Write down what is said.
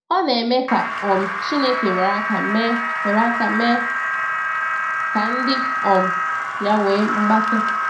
Ọ na-eme ka um Chineke were aka mee were aka mee ka ndị um ya nwee mgbake.